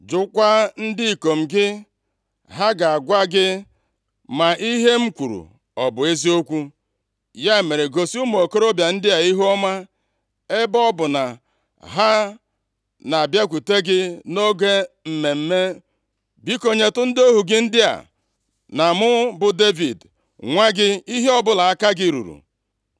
Jụọkwa ndị ikom gị, ha ga-agwa gị ma ihe m kwuru ọ bụ eziokwu. Ya mere gosi ụmụ okorobịa ndị a ihuọma, ebe ọ bụ na ha na-abịakwute gị nʼoge mmemme. Biko, nyetụ ndị ohu gị ndị a, na mụ bụ Devid nwa gị, ihe ọbụla aka gị ruru.’ ”